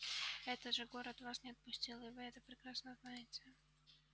это же город вас не отпустил и вы это прекрасно знаете